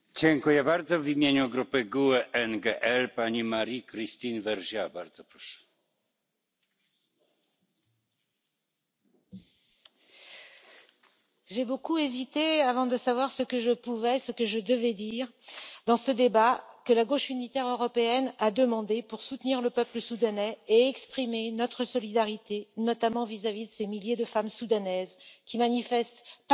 Monsieur le Président, j'ai beaucoup hésité avant de savoir ce que je pouvais, ce que je devais dire dans ce débat que la Gauche unitaire européenne a demandé pour soutenir le peuple soudanais et exprimer notre solidarité, notamment vis à vis de ces milliers de femmes soudanaises qui manifestent pacifiquement,